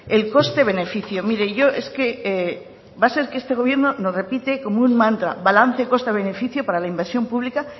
el coste beneficio mire yo es que va a ser que este gobierno lo repite como un mantra balance coste beneficio para la inversión pública